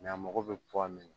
a mago bɛ min na